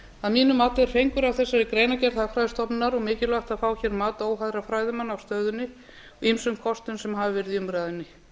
að mínu mati er fengur að þessari greinargerð hagfræðistofnunar og mikilvægt að fá mat óháðra fræðimanna á stöðunni og ýmsum kostum sem nú hafa verið í umræðunni